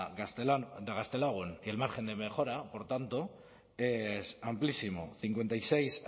gaztelagun el margen de mejora por tanto es amplísimo cincuenta y seis